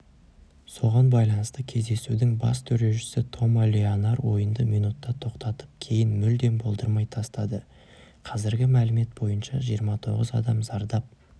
соған байланысты кездесудің бас төрешісі тома леонар ойынды минутта тоқтатып кейін мүлдем болдырмай тасады қазіргі мәлімет бойынша жиырма тоғыз адам зардап